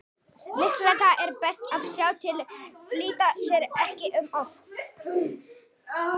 Líklega er best að sjá til, flýta sér ekki um of.